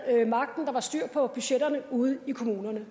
magten der var styr på budgetterne ude i kommunerne